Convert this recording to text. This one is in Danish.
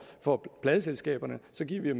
for pladeselskaberne så giver vi